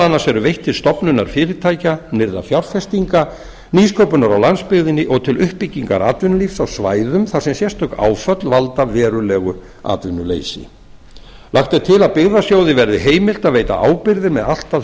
annars eru veitt til stofnunar fyrirtækja nýrra fjárfestinga nýsköpunar á landsbyggðinni og til uppbyggingar atvinnulífs á svæðum þar sem sérstök áföll valda verulegu atvinnuleysi lagt er til að byggðasjóði verði heimilt að veita ábyrgðir með allt að